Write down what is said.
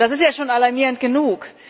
Das ist ja schon alarmierend genug.